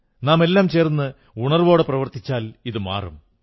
നാമെല്ലാം ചേർന്ന് ഉണർവ്വോടെ പ്രവർത്തിച്ചാൽ ഇതും മാറും